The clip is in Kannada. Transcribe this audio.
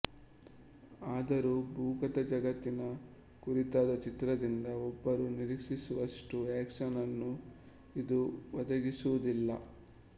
ಆದರೂ ಭೂಗತ ಜಗತ್ತಿನ ಕುರಿತಾದ ಚಿತ್ರದಿಂದ ಒಬ್ಬರು ನಿರೀಕ್ಷಿಸುವಷ್ಟು ಆಕ್ಷನ್ ಅನ್ನು ಇದು ಒದಗಿಸುವುದಿಲ್ಲ